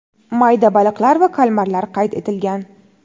mayda baliqlar va kalmarlar qayd etilgan.